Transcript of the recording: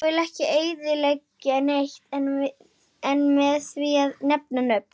Ég vill ekki eyðileggja neitt með því að nefna nöfn.